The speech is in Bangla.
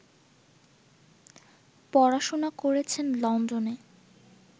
পড়াশোনা করেছেন লন্ডনে